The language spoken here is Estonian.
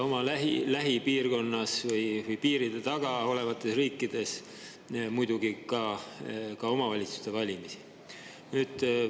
Oma lähipiirkonnas või piiride taga olevates riikides muidugi ka valimisi.